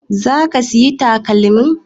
Za ka sayi takalmin?